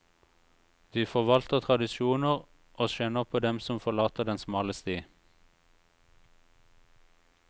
De forvalter tradisjoner og skjenner på dem som forlater den smale sti.